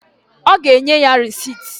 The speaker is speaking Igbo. Ọ ga-enye ya resit?